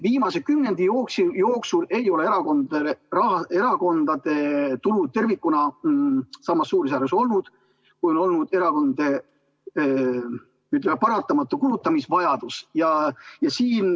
Viimase kümnendi jooksul ei ole erakondade tulu tervikuna olnud samas suurusjärgus, kui on olnud erakondade paratamatu kulutamisvajadus.